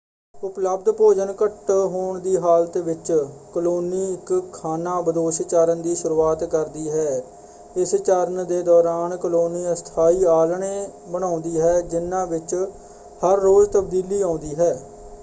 ਉਪਲਬਧ ਭੋਜਨ ਘੱਟ ਹੋਣ ਦੀ ਹਾਲਤ ਵਿੱਚ ਕਲੋਨੀ ਇੱਕ ਖਾਨਾਬਦੋਸ਼ ਚਰਣ ਦੀ ਸ਼ੁਰੂਆਤ ਕਰਦੀ ਹੈ। ਇਸ ਚਰਣ ਦੇ ਦੌਰਾਨ ਕਲੋਨੀ ਅਸਥਾਈ ਆਲ੍ਹਣੇ ਬਣਾਉਂਦੀ ਹੈ ਜਿਹਨਾਂ ਵਿੱਚ ਹਰ ਰੋਜ਼ ਤਬਦੀਲੀ ਆਉਂਦੀ ਹੈ।